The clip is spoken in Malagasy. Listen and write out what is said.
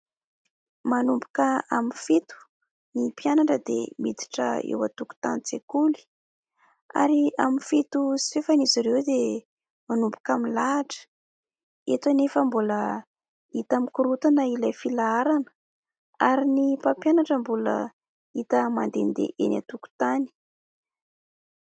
Manomboka amin'ny fito ny mpianatra dia miditra eo an-tokontanin-tsekoly, ary amin'ny fito sy fahefany izy ireo dia manomboka milahatra. Eto anefa, mbola hita mikorotana ilay filaharana ary ny mpampianatra mbola hita mandehandeha eny an-tokontany.